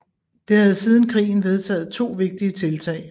Det havde siden krigen vedtaget to vigtige tiltag